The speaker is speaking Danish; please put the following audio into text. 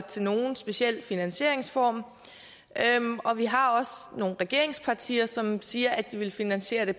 til nogen speciel finansieringsform og vi har også nogle regeringspartier som siger at de vil finansiere det